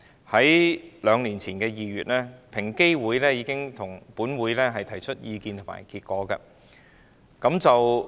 在兩年前的2月，平等機會委員會已經向本會提出意見和研究結果。